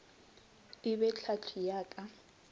e be tlhahli ya ka